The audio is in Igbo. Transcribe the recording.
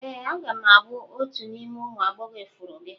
Ee a ga m abụ otu n'ime ụmụ agbọghọ ifuru gị.